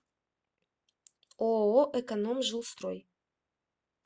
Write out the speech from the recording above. ооо экономжилстрой